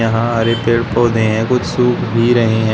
यहां हरे पेड़ पौधे हैं कुछ सूख भी रहे हैं।